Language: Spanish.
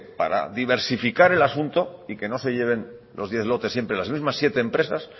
para diversificar el asunto y que no se lleven los diez lotes siempre las mismas siete empresas